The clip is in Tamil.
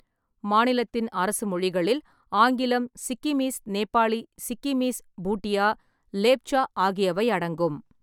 மாநிலத்தின் அரசு மொழிகளில் ஆங்கிலம், சிக்கிமீஸ் நேபாளி, சிக்கிமீஸ் (பூட்டியா), லேப்ச்சா ஆகியவை அடங்கும்.